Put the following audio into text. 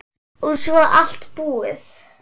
Og svo allt búið.